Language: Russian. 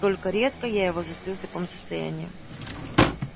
вот только редко я его застаю в таком состоянии